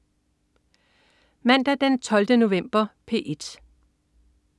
Mandag den 12. november - P1: